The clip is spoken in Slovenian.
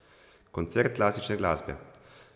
Koncert klasične glasbe.